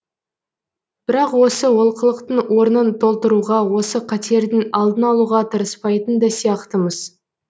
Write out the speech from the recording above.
бірақ осы олқылықтың орнын толтыруға осы қатердің алдын алуға тырыспайтын да сияқтымыз